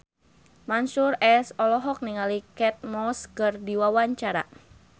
Mansyur S olohok ningali Kate Moss keur diwawancara